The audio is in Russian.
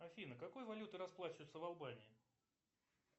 афина какой валютой расплачиваются в албании